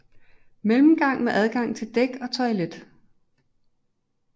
Mellemgang med adgang til dæk og toilet